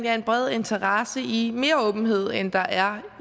er en bred interesse i mere åbenhed end der er